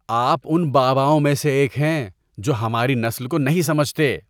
آپ ان باباؤں میں سے ایک ہیں جو ہماری نسل کو نہیں سمجھتے۔